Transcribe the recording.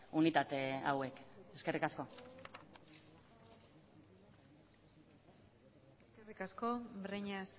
unitate hauek eskerrik asko eskerrik asko breñas